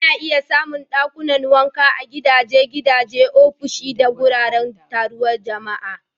Ana iya samun dakunan wanka a gidaje, gidaje, ofisoshi, da wuraren taruwar jama'a.